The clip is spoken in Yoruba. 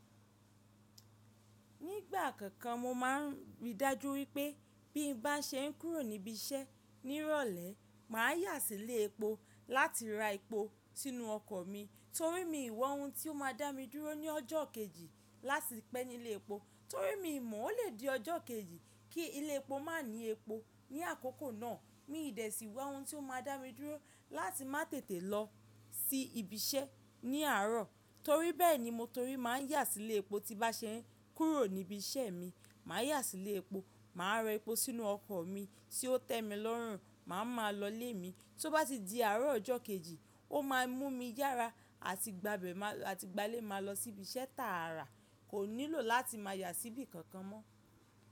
Nígbà kankan mo máa n rí dájú wípé bí n bá se ń kúrò níbí iṣẹ́ ní ìrọ̀lẹ́ má yá sí ilé epo láti ra epo sínú ọkọ̀ mi torí mi wọ ohùn tí ó má a dá mi dúró ní ọjọ́ kejì láti pẹ́ nílé epo, torí mi mọ̀ ọ́ lè di ọjọ́ kejì kí ilé epo má ní epo. Ní àkókò náà mi dẹ̀ sì wọ ohun tí ó má dá mi dúró láti má tètè lọ sí ibi iṣẹ́ ní àárọ̀ torí bẹ́ẹ̀ ni mo torí má yá sílé epo tí bá ṣe ń kúrò níbi iṣẹ́ mi, màá yá sílé epo, màá ra epo sínú ọkọ̀ mi tí ó tẹ́ mi lọ́rùn, màá ma lọ ilé mi. Tó bá ti di àárọ̀ ọjọ́ kejì ó ma mú mi yára àti gbálẹ̀ máa lọ sí ibi iṣẹ́ tààrà kò nílò láti máa yá sí ibi kankan mọ́.